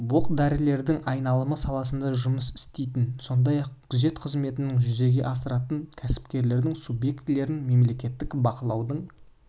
оқ-дәрілердің айналымы саласында жұмыс істейтін сондай-ақ күзет қызметін жүзеге асыратын кәсіпкерлік субъектілерін мемлекеттік бақылаудың